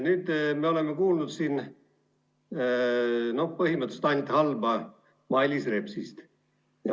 Nüüd me oleme siin kuulnud põhimõtteliselt ainult halba Mailis Repsist.